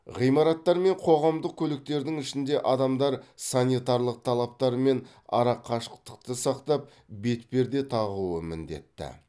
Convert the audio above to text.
ғимараттар мен қоғамдық көліктердің ішінде адамдар санитарлық талаптар мен арақашықтықты сақтап бетперде тағуы міндетті